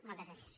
moltes gràcies